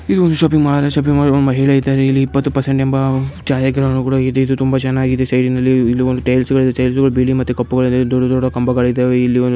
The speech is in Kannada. ಇದು ಒಂದ್ ಶಾಪಿಂಗ್ ಮಾಲ್ ಶಾಪಿಂಗ್ ಮಾಲ್ ಇಲ್ಲಿ ಇಪ್ಪತ್ತು ಪರ್ಸೆಂಟ್ ಎಂಬ ಇದೆ. ಇದು ತುಂಬಾ ಚೆನ್ನಾಗಿ ಇದೆ. ಸೈಡ್ ದೊಡ್ಡ ದೊಡ್ಡ ಕಂಬಗಳು ಇದಾವೆ. ಇಲ್ಲಿ--